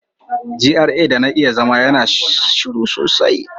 GRA da na yi zama yana shiru sosai.